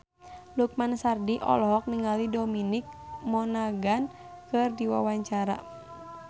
Lukman Sardi olohok ningali Dominic Monaghan keur diwawancara